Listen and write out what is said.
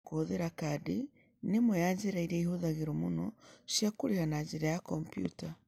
Kũhũthĩra kadi nĩ ĩmwe ya njĩra iria ihũthagĩrũo mũno cia kũrĩha na njĩra ya kompiuta.